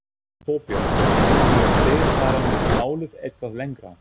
Þorbjörn: Munuð þið fara með málið eitthvað lengra?